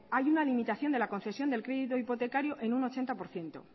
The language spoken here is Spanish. hay una limitación de la concesión del crédito hipotecario en un ochenta por ciento